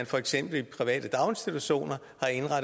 for eksempel private daginstitutioner